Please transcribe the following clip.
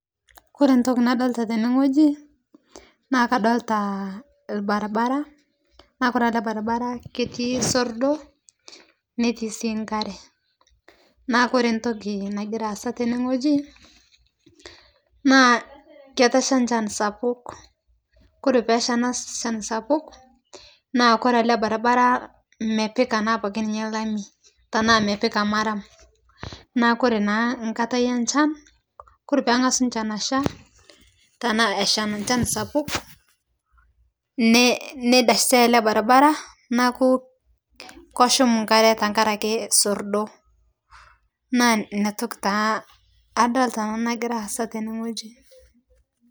Kore ntoki naolita tene ng'oji naa kadolita lbarbaraa naa kore alee barbaraa keti sordo netii sii nkare naa kore ntoki nagiraa aasa tene ng'oji naa ketesha nchan sapuk kore peesa ana chan sapuk naa kore alee barbara mepikaa naa apake ninye lami tanaa mepikaa maram naa kore naa nkatai enchan kore pengasu nchan acha tanaa echaa nchan sapuk neidashitai alee barbara naaku koshum nkare teng'arake sorndoo naa inia toki taa adolta nanu nagiraa aasa tene ng'oji.